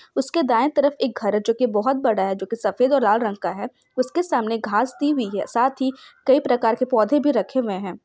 उसके दाएं तरफ एक घर है जो की बहुत बड़ा है जोकी बहुत बड़ा है जोकी सफेद और लाल रंग का है उसके सामने घास दी हुई हैं साथ ही कई प्रकार के पौधे भी रखे हुए है।